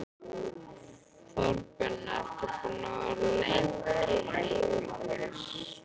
Þorbjörn: Ertu búinn að vera lengi heimilislaus?